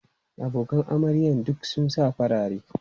Abokan amaryan duk sun sa farare.